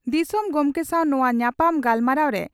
ᱫᱤᱥᱚᱢ ᱜᱚᱢᱠᱮ ᱥᱟᱣ ᱱᱚᱣᱟ ᱧᱟᱯᱟᱢ ᱜᱟᱞᱢᱟᱨᱟᱣᱨᱮ ᱟᱹᱥᱹᱥᱹᱞᱹᱥᱹ